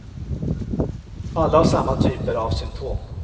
Alla har samma typer av symptom.